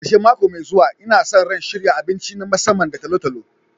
Karshen mako mai zuwa, Ina sa ran shirya abinci na musamman da talo-talo.